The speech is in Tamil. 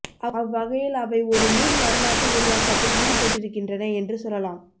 அவ்வகையில் அவை ஒரு நுண் வரலாற்று உருவாக்கத்தில் ஈடுபட்டிருக்கின்றன என்று சொல்லலாம்